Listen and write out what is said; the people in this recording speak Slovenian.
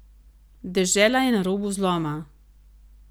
Dežela je na robu zloma.